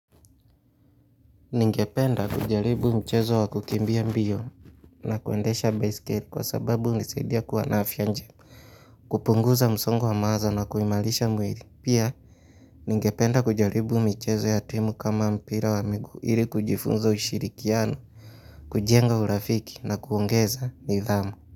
Ningependa kujaribu mchezo wa kukimbia mbio na kuendesha baskeli kwa sababu unisaidia kuwa na afya njema, kupunguza msongo wa mawazo na kuimalisha mwiri. Pia, ningependa kujaribu michezo ya timu kama mpira wa miguu ili kujifunza ushirikiano, kujenga urafiki na kuongeza nidhamu.